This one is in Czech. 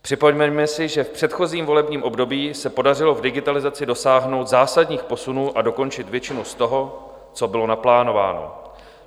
Připomeňme si, že v předchozím volebním období se podařilo v digitalizaci dosáhnout zásadních posunů a dokončit většinu z toho, co bylo naplánováno.